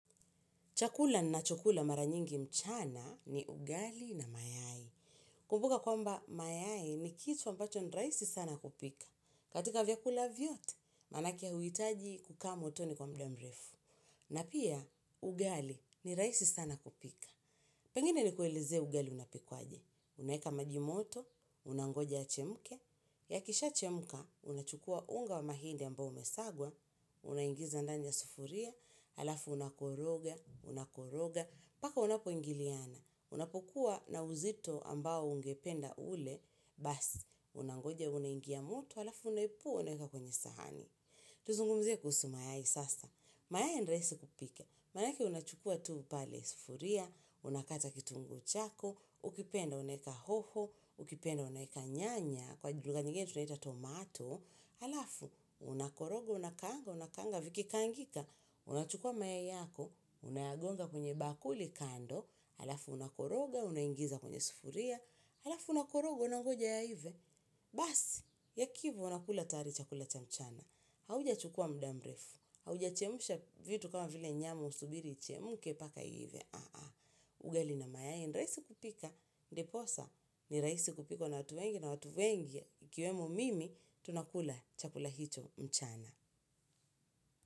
Chakula ninachokula mara nyingi mchana ni ugali na mayai. Kumbuka kwamba mayai ni kitu ambacho ni rahisi sana kupika. Katika vyakula vyote, maanake huhitaji kukaa motoni kwa muda mrefu. Na pia ugali ni rahisi sana kupika pengine ni kuelezee ugali unapikwaje. Unaeka maji moto, unangoja yachemke. Yakishaachemka, unachukua unga wa mahindi ambao umesagwa. Unaingiza ndani ya sufuria. Alafu unakoroga, unakoroga, mpaka unapoingiliana, unapokuwa na uzito ambao ungependa ule, basi, unangoja unangia moto alafu unaepua unaeka kwenye sahani. Tuzungumzie kuhusu mayai sasa. Mayai ni rahisi kupika, maanake unachukua tu pale sufuria, unakata kitunguu chako, ukipenda unaeka hoho, ukipenda unaeka nyanya, kwa lugha nyingine tunaita tomato, alafu, unakoroga, unakaanga, unakaanga, vikikaangika, unachukua mayai yako, unayagonga kwenye bakuli kando, alafu, unakoroga, unaingiza kwenye sufuria, alafu, unakoroga unangoja yaive. Basi, yakiiva, unakula tayari chakula cha mchana. Haujachukua muda mrefu. Haujachemsha vitu kama vile nyama usubiri ichemke mpaka iive. Ugali na mayai ni rahisi kupika ndiposa ni rahisi kupikwa na watu wengi na watu wengi ikiwemo mimi tunakula chakula hicho mchana.